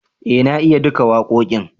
eh na iya duka wakoƙin